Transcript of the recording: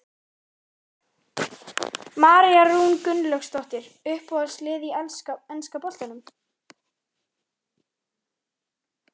María Rún Gunnlaugsdóttir Uppáhalds lið í enska boltanum?